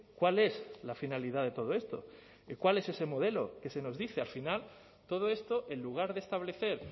cuál es la finalidad de todo esto cuál es ese modelo que se nos dice al final todo esto en lugar de establecer